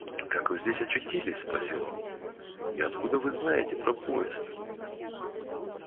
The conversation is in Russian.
как вы здесь очутились спросил он и откуда вы знаете про поезд